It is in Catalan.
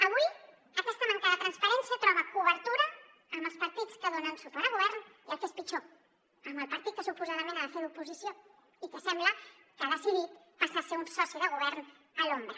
avui aquesta manca de transparència troba cobertura amb els partits que donen suport al govern i el que és pitjor amb el partit que suposadament ha de fer d’oposició i que sembla que ha decidit passar a ser un soci de govern a l’ombra